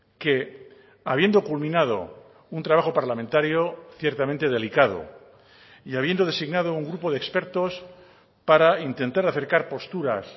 que habiendo culminado un trabajo parlamentario ciertamente delicado y habiendo designado un grupo de expertos para intentar acercar posturas